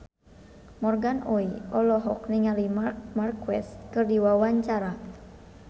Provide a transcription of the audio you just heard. Morgan Oey olohok ningali Marc Marquez keur diwawancara